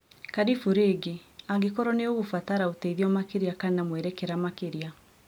Karĩbũ rĩngĩ. Angĩkorwo nĩ ũgũbatara ũteithio makĩria kana mwerekera makĩria